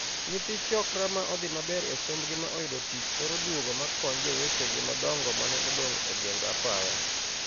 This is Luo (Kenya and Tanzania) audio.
Nyithi 'chokra' ma odhii maber e sombgi ma oyudo tich thoro duogo ma kony jowetegi madongo mane odong' e geng apaya.